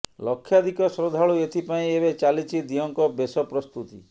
ଲକ୍ଷାଧିକ ଶ୍ରଦ୍ଧାଳୁ ଏଥି ପାଇଁ ଏବେ ଚାଲିଛି ଦିଅଁଙ୍କ ବେଶ ପ୍ରସ୍ତୁତି